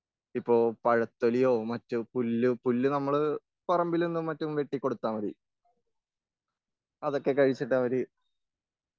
ഇപ്പൊ പഴത്തൊലിയോ, മറ്റ് പുല്ല്, പുല്ല് നമ്മള് പറമ്പിൽ നിന്നും മറ്റും വെട്ടികൊടുത്താൽ മതീ.അതൊക്കെ കഴിച്ചിട്ട് അവര്,